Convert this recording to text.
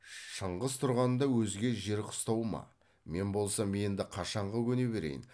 шыңғыс тұрғанда өзге жер қыстау ма мен болсам енді қашанғы көне берейін